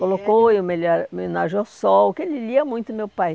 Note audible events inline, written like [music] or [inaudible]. Colocou em [unintelligible] homenagem ao Sol, que ele lia muito, meu pai.